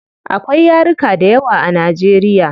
Akwai yaruka dayawa a nigeria